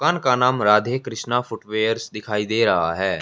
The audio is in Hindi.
दुकान का नाम राधे कृष्णा फुटवेयर्स दिखाई दे रहा है।